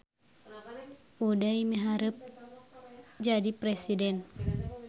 Uday miharep jadi presiden